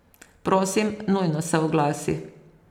Prosim, nujno se oglasi.